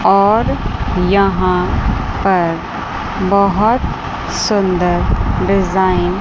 और यहां पर बहोत सुंदर डिजाइन --